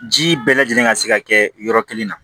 Ji bɛɛ lajɛlen ka se ka kɛ yɔrɔ kelen na